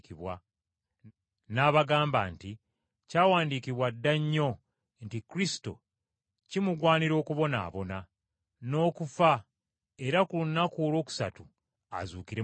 N’abagamba nti, “Kyawandiikibwa dda nnyo nti Kristo kimugwanira okubonaabona, n’okufa era ku lunaku olwokusatu azuukire mu bafu.